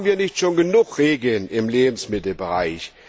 Haben wir nicht schon genug Regeln im Lebensmittelbereich?